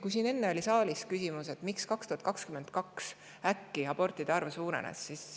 Siin saalis oli enne küsimus, miks 2022 abortide arv äkki suurenes.